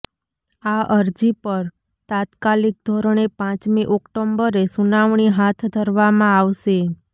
આ અરજી પર તાત્કાલિક ધોરણે પાંચમી ઓક્ટોબરે સુનાવણી હાથ ધરવામાં આવશે